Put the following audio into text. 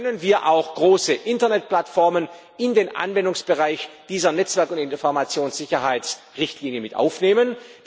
Können wir auch große Internetplattformen in den Anwendungsbereich dieser Netzwerk und Informationssicherheitsrichtlinie mit aufnehmen?